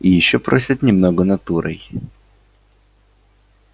и ещё просят немного натурой